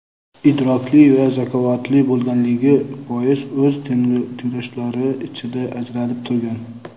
idrokli va zakovatli bo‘lganligi bois o‘z tengdoshlari ichida ajralib turgan.